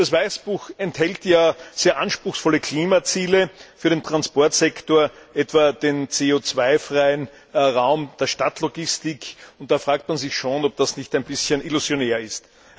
Das Weißbuch enthält ja sehr anspruchsvolle Klimaziele für den Transportsektor, etwa den CO freien Raum der Stadtlogistik, und da fragt man sich schon, ob das nicht ein bisschen illusionär ist.